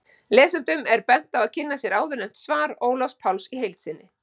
Lesendum er bent á að kynna sér áðurnefnt svar Ólafs Páls í heild sinni.